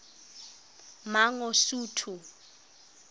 mangosuthu